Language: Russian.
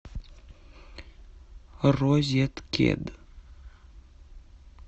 розеткед